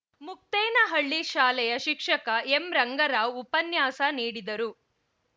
ಮುಕ್ತೇನಹಳ್ಳಿ ಶಾಲೆಯ ಶಿಕ್ಷಕ ಎಂ ರಂಗರಾವ್‌ ಉಪನ್ಯಾಸ ನೀಡಿದರು